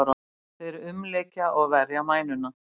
Þeir umlykja og verja mænuna.